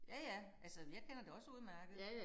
Ja ja. Altså men jeg kender det også udmærket